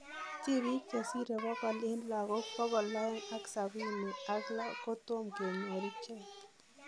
Tipiik chesire bokol en lakook bokol aeng ak sabini ak lo kotomo kenyor ichek